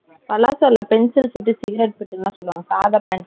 palazzo இல்ல. pencil fit , cigarette fit ல சொல்லுவங்கள்லா. சாதா pant .